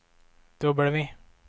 W